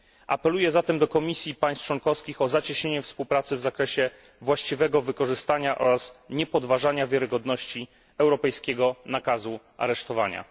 Apeluję zatem do Komisji i państw członkowskich o zacieśnienie współpracy w zakresie właściwego wykorzystania oraz niepodważania wiarygodności europejskiego nakazu aresztowania.